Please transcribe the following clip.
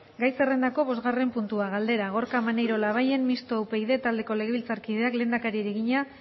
gai zerrendako bosgarren puntua galdera gorka maneiro labayen mistoa upyd taldeko legebiltzarkideak lehendakariari egina